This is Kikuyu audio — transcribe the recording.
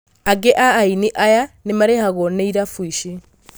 Aingĩ a aini aya nĩmarĩhagwo nĩ irabu ici.